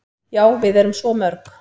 """Já, við erum svo mörg."""